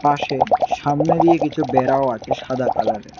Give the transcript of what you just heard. পাশে সামনে দিয়ে কিছু বেড়াও আছে সাদা কালারের ।